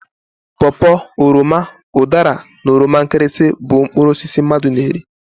Paw paw, oroma, udara na oroma nkirisi bụ mkpụrụ osisi mmadụ na eri.